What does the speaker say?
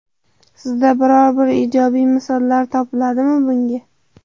Sizda biror-bir ijobiy misollar topiladimi bunga?